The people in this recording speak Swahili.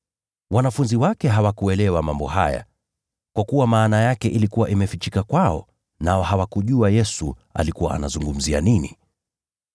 Wanafunzi wake hawakuelewa mambo haya, kwa kuwa maana yake ilikuwa imefichika kwao, nao hawakujua Yesu alikuwa anazungumzia nini.